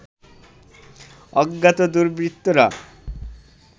অজ্ঞাত দুর্বৃত্তরা